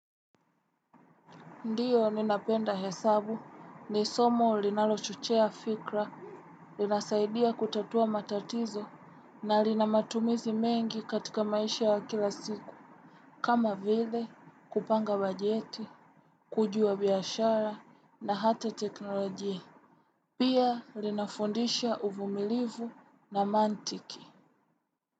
Ndiyo ninapenda hesabu ni somo linalo chochea fikra, linasaidia kutatua matatizo na linamatumizi mengi katika maisha ya kila siku. Kama vile kupanga bajeti, kujua biyashara na hata teknolojia. Pia linafundisha uvumilivu na mantiki.